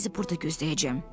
Mən sizi burada gözləyəcəm.